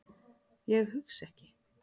Ég hugsa ekki.